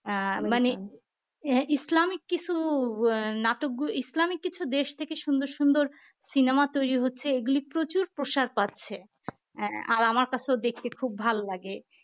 Islamic কিছু আহ নাটক ইসলামি কিছু দেশ থেকে সুন্দর সুন্দর cinema তৈরি হচ্ছে এগুলি প্রচুর প্রসাদ পাচ্ছে হ্যাঁ আর আমার কাছেও দেখতে খুব ভাল লাগে